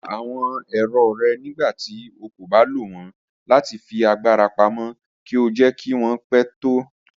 Pà àwọn èrọ́ rẹ̀ nígbàtí ó kò bá lọ wọn láti fi agbara pámọ̀ kí ó jẹ̀ kí wọn pẹ̀ tó.